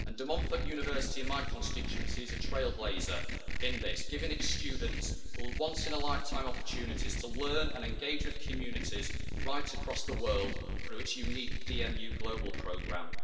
De Montfort University in my constituency is a trailblazer in this, giving its students once in a lifetime opportunities to learn and engage with communities right across the world through its unique DMU Global programme.